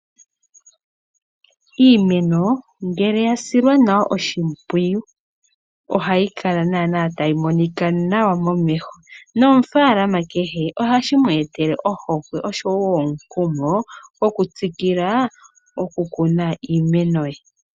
Iimeno ngele ya silwa nawa oshimpwiyu ohayi kala tayi monika nawa momeho nomunafaalama kehe ohashi mweetele ohokwe oshowo omukumo gokutsikila okukuna iimeno ye.